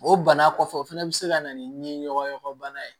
O bana kɔfɛ o fana bɛ se ka na ni ɲɔgɔn yakɛ bana ye